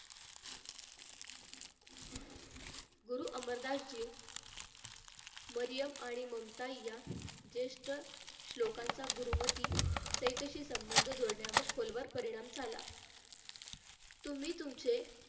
गुरु अमरदासजी मरियम आणि ममता या जेष्ठ श्लोकांचा गुरुमती शेठ शी संबंध जुळण्यावर खोलवर परिणाम झाला तुम्ही तुमचे